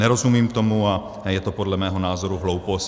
Nerozumím tomu a je to podle mého názoru hloupost.